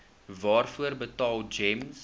waarvoor betaal gems